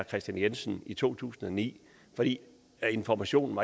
kristian jensen i to tusind og ni fordi informationerne